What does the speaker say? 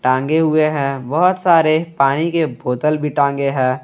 टांगे हुए हैं बहुत सारे पानी के बोतल भी टांगे है।